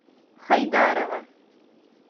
хайдарова